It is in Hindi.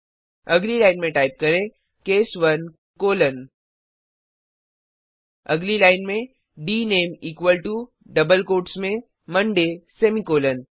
अगली लाइन में टाइप करें केस 1 कोलोन अगली लाइन में डीनामीक्वल टो डबल कोट्स में मंडे सेमीकॉलन